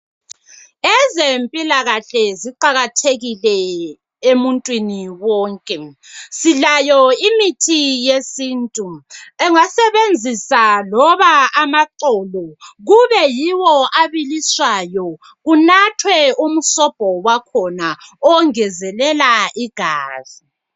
Ezempilakahle ziqakathekile emuntwini wonke. Silayo imithi yesintu. Engasebenzisa loba amaxolo, kube yiwo abiliswayo, kunathwe umsobho wakhona ongezelela igazi.